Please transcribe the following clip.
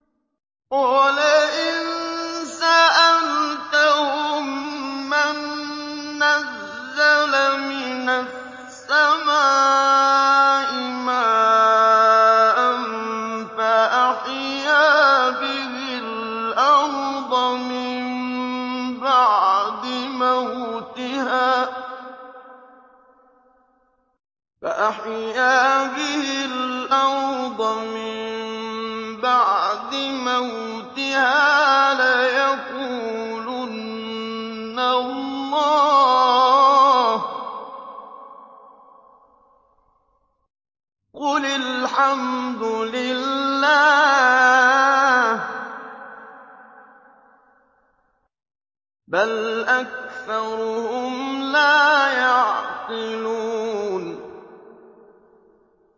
وَلَئِن سَأَلْتَهُم مَّن نَّزَّلَ مِنَ السَّمَاءِ مَاءً فَأَحْيَا بِهِ الْأَرْضَ مِن بَعْدِ مَوْتِهَا لَيَقُولُنَّ اللَّهُ ۚ قُلِ الْحَمْدُ لِلَّهِ ۚ بَلْ أَكْثَرُهُمْ لَا يَعْقِلُونَ